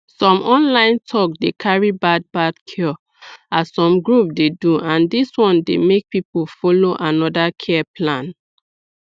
some online talk dey carry bad bad cure as some groups dey do and dis one dey make people follow another care plan